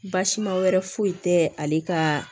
Basima wɛrɛ foyi tɛ ale ka